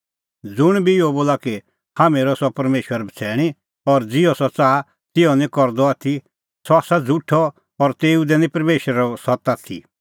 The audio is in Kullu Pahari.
ज़ुंण बी इहअ बोला कि हाम्हैं हेरअ परमेशर बछ़ैणीं और ज़िहअ सह च़ाहा तिहअ निं करदअ आथी सह आसा झ़ुठअ और तेऊ दी निं परमेशरो सत्त आथी